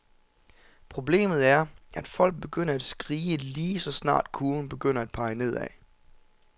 Problemet er, at folk begynder at skrige, lige så snart kurven begynder at pege nedad.